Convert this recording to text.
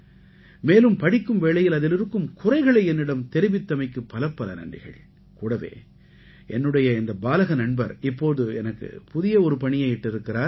மேலும் படிக்கும் வேளையில் அதில் இருக்கும் குறைகளை என்னிடம் தெரிவித்தமைக்கு பலப்பல நன்றிகள் கூடவே என்னுடைய இந்த பாலக நண்பர் இப்போது எனக்கு புதிய ஒரு பணியை இட்டிருக்கிறார்